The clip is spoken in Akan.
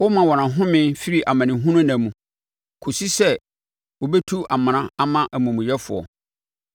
Woma wɔn ɔhome firi amanehunu nna mu, kɔsi sɛ wɔbɛtu amena ama amumuyɛfoɔ.